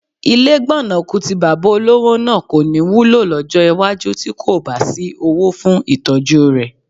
Ilé gbọ̀nàkù tí bàbá olówó náà kọ́ ní wúlò lọ́jọ́ iwájú tí kò bá sí owó fún ìtọ́jú rẹ̀